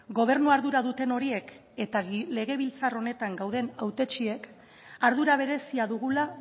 gobernu ardura duten horiek eta legebiltzar honetan gauden hautetsiek ardura berezia dugula